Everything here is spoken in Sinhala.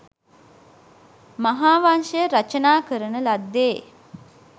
මහා වංශය රචනා කරන ලද්දේ